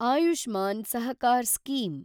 Ayushman Sahakar scheme